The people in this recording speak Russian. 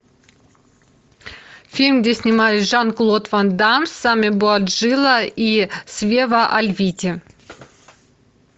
фильм где снимались жан клод ван дамм сами буажила и свева альвити